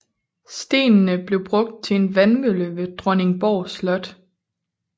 Stenene blev brugt til en vandmølle ved Dronningborg Slot